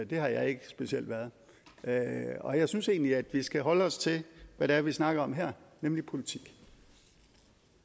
det har jeg ikke specielt været og jeg synes egentlig at vi skal holde os til hvad det er vi snakker om her nemlig politik